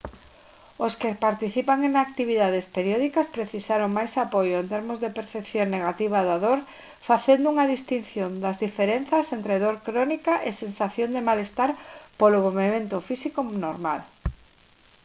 os que participan en actividades periódicas precisaron máis apoio en termos de percepción negativa da dor facendo unha distinción das diferenzas entre dor crónica e sensación de malestar polo movemento físico normal